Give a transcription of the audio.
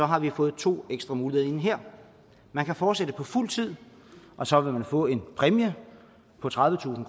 har vi fået to ekstra muligheder ind her man kan fortsætte på fuld tid og så vil man få en præmie på tredivetusind